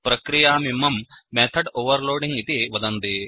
प्रक्रियामिमं method overloading इति वदन्ति